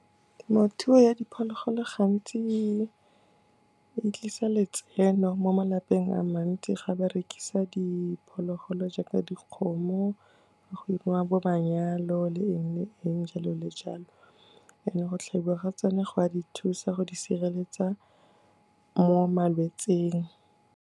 Temothuo ya diphologolo gantsi e tlisa letseno mo malapeng a mantsi ga ba rekisa diphologolo, jaaka dikgomo. Go 'iriwa bo manyalo le eng, le eng jalo le jalo and-e go tlhabiwa ga tsona go a di thusa go di sireletsa mo malwetsing.